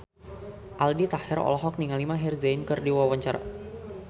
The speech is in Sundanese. Aldi Taher olohok ningali Maher Zein keur diwawancara